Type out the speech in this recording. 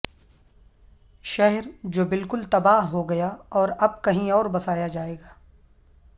شہر جو بالکل تباہ ہو گیا اور اب کہیں اور بسایا جائے گا